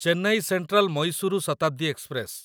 Chennai central Mysuru Shatabdi express